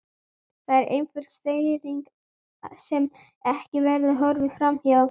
Það er einföld staðreynd sem ekki verður horft fram hjá.